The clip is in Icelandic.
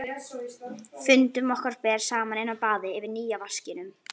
Fundum okkar ber saman inni á baði yfir nýja vaskinum.